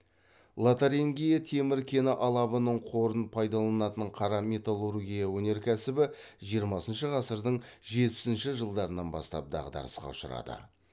лотарингия темір кені алабының қорын пайдаланатын қара металлургия өнеркәсібі жиырмасыншы ғасырдың жетпісінші жылдарынан бастап дағдарысқа ұшырады